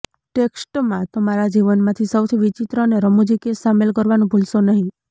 ટેક્સ્ટમાં તમારા જીવનમાંથી સૌથી વિચિત્ર અને રમૂજી કેસ શામેલ કરવાનું ભૂલશો નહીં